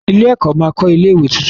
Ilé-ẹ̀kọ́ máa kọ́ ilé-ìwé tuntun.